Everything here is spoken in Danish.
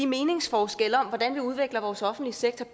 meningsforskelle om hvordan vi bedst udvikler vores offentlige sektor